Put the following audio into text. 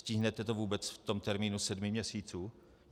Stihnete to vůbec v tom termínu sedmi měsíců?